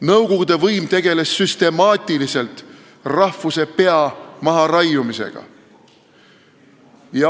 Nõukogude võim tegeles süstemaatiliselt rahvuse pea maharaiumisega.